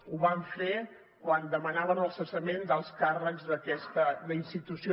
ho van fer quan demanaven el cessament d’alts càrrecs d’aquesta institució